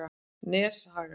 Neshaga